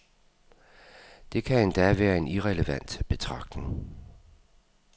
Det kan endda være en irrelevant betragtning.